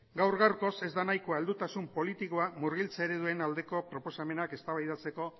gaur gaurkoz ez da nahikoa heldutasun politikoa murgiltze ereduen aldeko proposamenak eztabaidatzeko